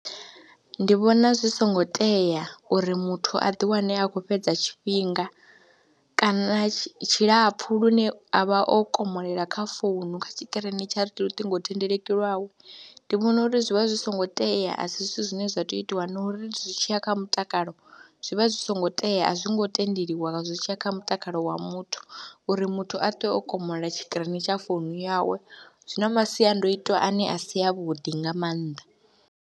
Ndi vhona zwi songo tea uri muthu a ḓiwane a khou fhedza tshifhinga kana tshilapfhu lune a vha o komolela kha founu, kha tshikirini tsha luṱingothendeleki lwawe, ndi vhona uri zwi vha zwi songo tea a si zwithu zwine zwa tea u itiwa na uri zwi tshi ya kha mutakalo zwi vha zwi songo tea, a zwo ngo tendeliwa zwi tshi ya kha mutakalo wa muthu uri muthu a ṱwe o komolela tshikirini tsha founu yawe zwi na masiandoitwa ane a si avhuḓi nga maanḓa.